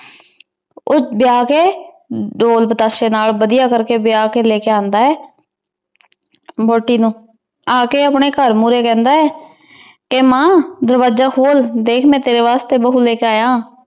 ਊ ਬੁਲਾ ਕੇ ਜੋ ਪਤਾਸੀ ਨਾਲ ਵਾਦਿਯ ਕਰ ਕੀ ਬਿਯਾਹ ਕੇ ਲੇ ਕਾ ਅੰਦਾ ਆਯ ਬੋਟੀ ਨੂ ਆ ਕੇ ਅਪਨੀ ਘਰ ਮੁਰੀ ਕਹੰਦਾ ਆਯ ਕੇ ਮਾਨ ਦਰਵਾਜਾ ਖੋਲ ਦੇਖ ਮੈਂ ਤੇਰੀ ਵਾਸ੍ਟੀ ਬਹੁ ਲੇ ਕੇ ਆਯਾ